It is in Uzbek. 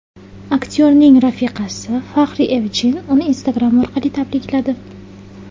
Aktyorning rafiqasi Fahriye Evjen uni Instagram orqali tabrikladi.